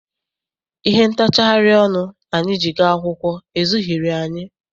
Ihe ntachari ọnụ anyị ji gaa akwụkwọ ezughịri anyị.